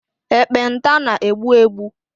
Ekpenta na-egbu egbu.